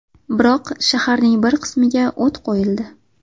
Biroq shaharning bir qismiga o‘t qo‘yildi.